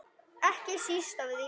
Ekki síst af því.